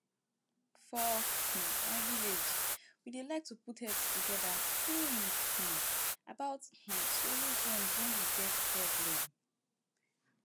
for um my village we dey like to put heads together think um about um solution wen we get problem